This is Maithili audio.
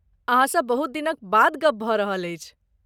अहाँसँ बहुत दिनक बाद गप भऽ रहल अछि।